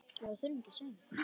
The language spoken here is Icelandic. SKÚLI: Saltið kemur.